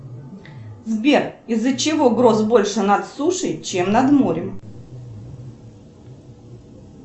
сбер из за чего гроз больше над сушей чем над морем